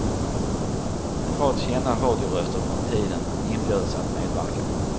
En rad kända radioröster från tiden inbjuds att medverka.